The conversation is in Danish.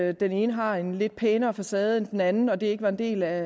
at den ene har en lidt pænere facade end den anden når det ikke var en del af